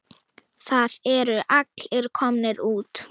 Það eru allir komnir út.